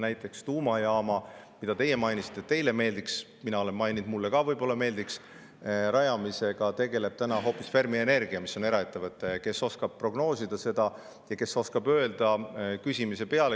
Näiteks tuumajaama – teie mainisite, et teile see meeldiks, mina olen maininud, et mulle ka võib-olla meeldiks – rajamisega tegeleb hoopis Fermi Energia, mis on eraettevõte, kes oskab prognoosida ja küsimise peale.